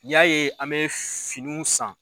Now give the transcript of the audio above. y'a ye an bɛ finiw san.